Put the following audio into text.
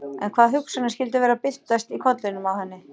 En hvaða hugsanir skyldu vera að byltast í kollinum á henni?